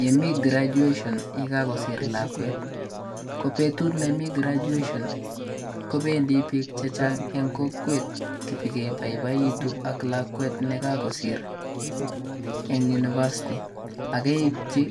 Ye mi graduation ye kakosiir lakwet, ko betut nemi graduation kobendi biik chechang eng kokwet ipikebaibaitu ak lakwet nekakosiir eng university akeipchi